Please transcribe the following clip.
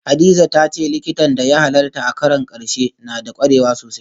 Hadiza ta ce diktan da ya halarta a karon karshe na da kwarewa sosai